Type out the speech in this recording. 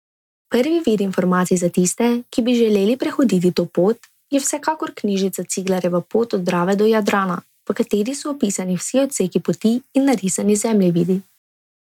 Prvi vir informacij za tiste, ki bi želeli prehoditi to pot, je vsekakor knjižica Ciglarjeva pot od Drave do Jadrana, v kateri so opisani vsi odseki poti in narisani zemljevidi.